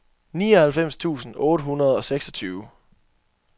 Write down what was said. nioghalvfems tusind otte hundrede og seksogtyve